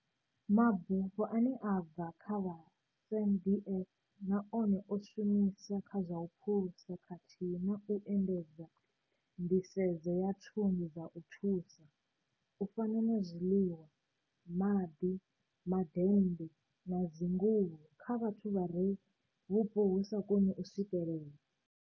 ''Mabufho ane a bva kha vha SANDF na one o shumiswa kha zwa u phulusa khathihi na u endedza nḓisedzo ya thundu dza u thusa, u fana na zwiḽiwa, maḓi, madennde na dzinguvho -kha vhathu vha re vhupo vhu sa koni u swikelea.